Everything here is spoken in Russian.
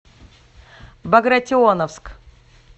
багратионовск